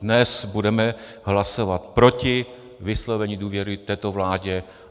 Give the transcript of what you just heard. Dnes budeme hlasovat proti vyslovení důvěry této vládě.